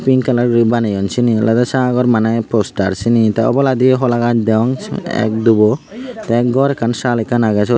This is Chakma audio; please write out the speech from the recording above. pink colour gori baneyon syeni oley sagor manah poster syeni oboladiyo holagaas degong ak dubow tey gor ekkan saal aan agay syot.